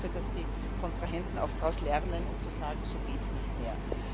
Ich hoffe, dass die Kontrahenten auch daraus lernen und sagen, so geht es nicht mehr.